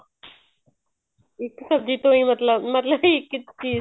ਇੱਕ ਸਬ੍ਜ਼ੀ ਤੋਂ ਹੀ ਮਤਲਬ ਮਤਲਬ ਇੱਕ ਚੀਜ਼